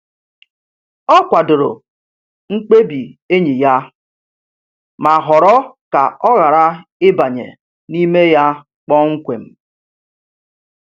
Ọ kwadoro mkpebi enyi ya, ma họrọ ka ọ ghara ịbanye n’ime ya kpọmkwem.